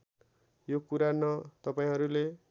यो कुरा न तपाईँहरूले